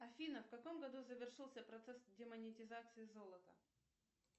афина в каком году завершился процесс демонетизации золота